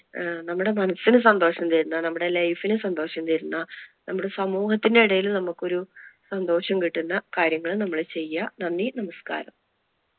നമ്മുടെ മനസ്സിനു സന്തോഷം തരുന്ന, നമ്മുടെ Life നു സന്തോഷം തരുന്ന, നമ്മുടെ സമൂഹത്തിനു ഇടയിൽ നമുക്ക് ഒരു സന്തോഷം കിട്ടുന്ന കാര്യങ്ങള് നമ്മൾ ചെയ്യുക. നന്ദി നമസ്കാരം.